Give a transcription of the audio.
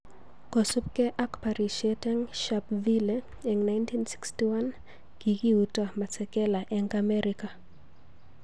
Kosupkei ak porishet env Sharperville eng 1961,Kikiuto Masekela eng Amerika